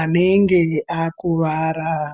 anenge akuvara.